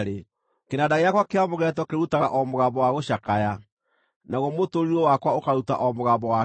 Kĩnanda gĩakwa kĩa mũgeeto kĩrutaga o mũgambo wa gũcakaya, naguo mũtũrirũ wakwa ũkaruta o mũgambo wa kĩrĩro.